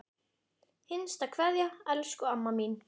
HINSTA KVEÐJA Elsku amma mín.